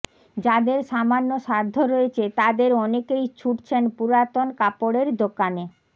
যাদের সামান্য সাধ্য রয়েছে তাদের অনেকেই ছুটছেন পুরাতন কাপড়ের দোকানে